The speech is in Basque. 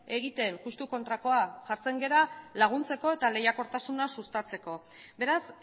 egiten justu kontrakoa jartzen gara laguntzeko eta lehiakortasuna sustatzeko beraz